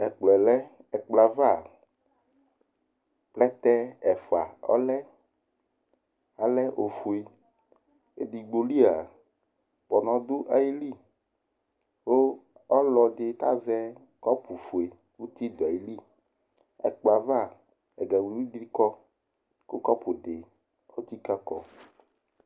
Ɛkplɔɛ lɛ Ɛkplɔɛ ava , plɛtɛ ɛfʋa lɛ alɛ ofue Edigbo lia ,kpɔnɔ dʋ ayili Kʋ ɔlɔdɩ azɛ kɔpʋfue kʋ ti dʋ ayili Ɛkplɔɛ ava ,ɛga wiliwili dɩ kɔ kʋ ,kʋ kɔpʋ dɩ etsikǝ kɔ